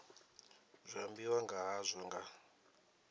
zwi ambiwa nga hazwo nga